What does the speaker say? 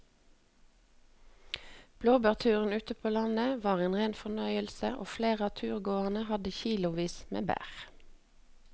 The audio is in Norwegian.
Blåbærturen ute på landet var en rein fornøyelse og flere av turgåerene hadde kilosvis med bær.